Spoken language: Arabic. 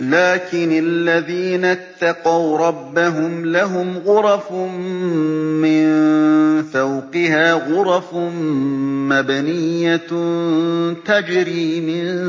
لَٰكِنِ الَّذِينَ اتَّقَوْا رَبَّهُمْ لَهُمْ غُرَفٌ مِّن فَوْقِهَا غُرَفٌ مَّبْنِيَّةٌ تَجْرِي مِن